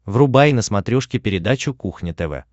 врубай на смотрешке передачу кухня тв